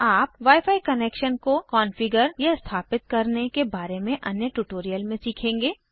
आप wi fi connections को configure या स्थापित करने के बारे में अन्य ट्यूटोरियल में सीखेंगे